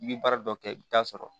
I bɛ baara dɔ kɛ i bɛ t'a sɔrɔ